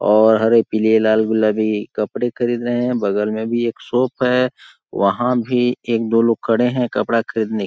और हरे पीले लाल गुलाबी कपड़े खरीद रहे है बगल में भी एक शॉप है वहाँ भी एक -दो लोग खड़े है कपड़ा खरीदने --